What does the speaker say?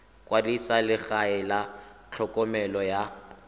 kwadisa legae la tlhokomelo ya